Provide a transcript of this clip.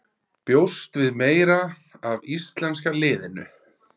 Bjóstu við meira af íslenska liðinu?